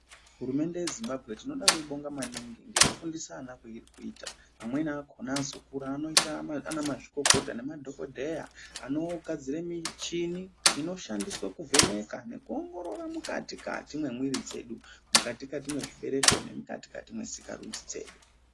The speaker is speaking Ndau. Hurumende yeZimbabwe tinoda kuibonga maningi nekufundisa ana kwairi kuita amweni akona azokura anoita ana mazvikokota nemadhogodheya anogadzira michini inoshandiswa kuvheneka nekuongorora mukati kati memwiri dzedu mukati kati mezvibereko nemukati kati mwesikarudzi dzedu.